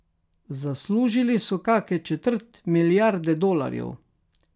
Zaslužili so kake četrt milijarde dolarjev.